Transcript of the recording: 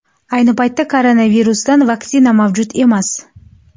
Ayni paytda koronavirusdan vaksina mavjud emas.